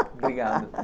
Obrigado.